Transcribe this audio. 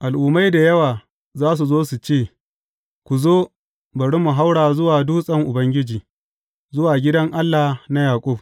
Al’ummai da yawa za su zo su ce, Ku zo, bari mu haura zuwa dutsen Ubangiji, zuwa gidan Allah na Yaƙub.